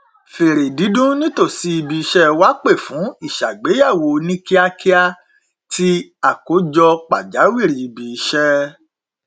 fèrè dídún nítòsí ibi iṣẹ wa pè fún ìṣàgbéyẹwò oníkíákíá ti àkójọ pàjáwìrì ibi iṣẹ